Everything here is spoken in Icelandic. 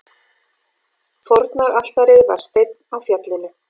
Fórnaraltarið var steinn á fjallinu.